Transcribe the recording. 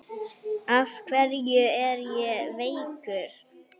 Af hverju er ég veikur?